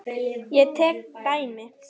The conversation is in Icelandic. Ég tek dæmi.